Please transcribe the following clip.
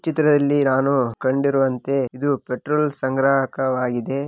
ಈ ಚಿತ್ರದಲ್ಲಿ ನಾನು ಕಂಡಿರುವಂತೆ ಇದು ಪೆಟ್ರೋಲ್‌ ಸಂಗ್ರಾಹಕವಾಗಿದೆ.